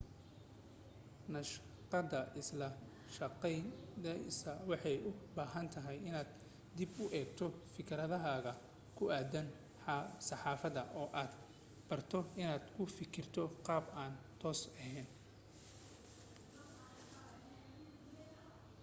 naqshada isla jaanqaadaysa waxay u baahan tahay inaad dib u eegto fikradahaaga ku aaddan saxaafada oo aad barato inaad u fikirto qaab aan toos ahayn